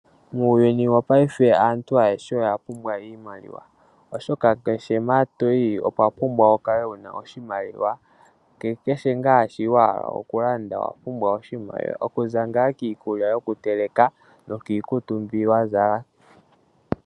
Muuyuni wopaife aantu ayehe oya pumbwa iimaliwa oshoka kehe mpa toyi owa pumbwa wu kale wuna oshimaliwa nakehe nga shi wahala okulanda owa pumbwa oshimaliwa kuza ngaa kiikulya yoku teleka noki kutu mbi wa zala.